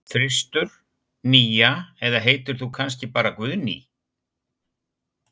þristur, nía eða heitir þú kannski bara Guðný?